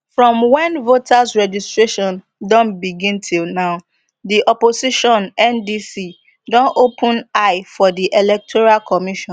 from wen voters registration don begin till now di opposition ndc don open eye for di electoral commission